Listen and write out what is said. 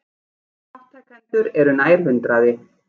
Þátttakendur eru nær hundraði